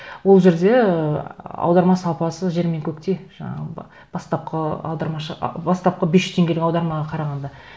ол жерде ы аударма сапасы жер мен көктей жаңағы бастапқы аудармашы бастапқы бес жүз теңгелік аудармаға қарағанда